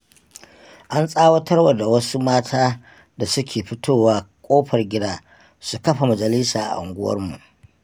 An tsawatarwa da wasu mata da suke fitowa ƙofar gida, su kafa majalisa a unguwarmu.